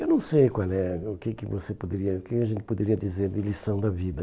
Eu não sei qual é o que que você poderia o que a gente poderia dizer de lição da vida.